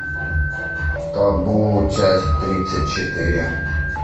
табу часть тридцать четыре